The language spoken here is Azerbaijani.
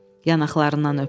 Yanaqlarından öptü.